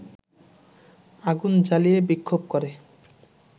আগুন জ্বালিয়ে বিক্ষোভ করে